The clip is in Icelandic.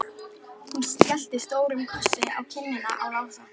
Hún skellti stórum kossi á kinnina á Lása.